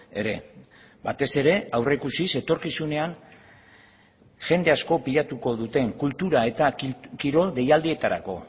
ere batez ere aurreikusiz etorkizunean jende asko pilatuko duten kultura eta kirol deialdietarako